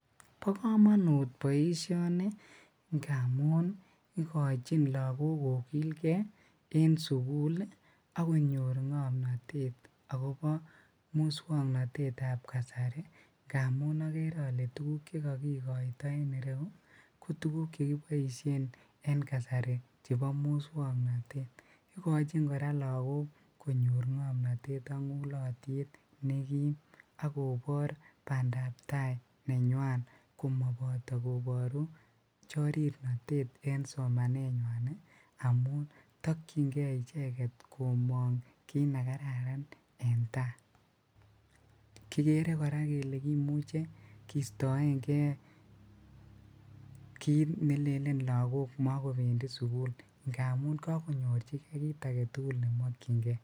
Bokomonut boishoni ngamun ikochin lokok kokilke en sukul ak konyor ng'omnotet akobo muswoknotetab kasari ng'amun okere olee tukuk chekokikoito en ireyu ko tukuk chekiboishen en kasari chebo muswoknotet, ikochin kora lokok konyor ng'omnotet ak ng'ulotyet nekiim ak kobor bandab taai nenywan komoboto koboru chorirnotet en somanenywan amuun tokying'e icheket komong kiit nekararan en taai, kikere kora kelee kimuche kistoeng'e kiit nelelen lokok mokobendi sukul kiit aketukul nemokying'e.